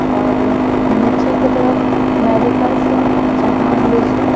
और नीचे की तरफ मेडिकल्स है जहाँ अंग्रेजी--